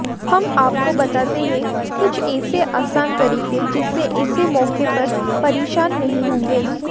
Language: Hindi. हम आपको बताते हैं कुछ ऐसे आसान तरीके जिससे ऐसे मौके पर परेशान नहीं होंगे